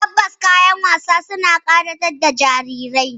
Tabbas, kayan wasa suna ƙayatar da jarirai